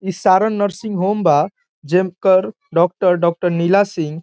इ Saran nursing home बा जेकड़ डॉक्टर डॉक्टर नीला सिंह --